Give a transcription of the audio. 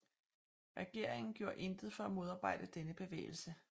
Regeringen gjorde intet for at modarbejde denne bevægelse